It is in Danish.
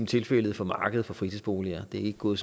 tilfældet for markedet for fritidsboliger det er ikke gået